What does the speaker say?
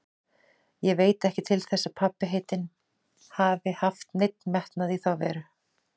Ég veit ekki til þess að pabbi heitinn hafi haft neinn metnað í þá veru.